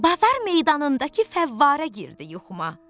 Bazar meydanındakı fəvvarə girdi yuxuma.